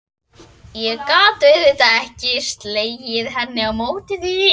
Ég gat auðvitað ekki slegið hendi á móti því.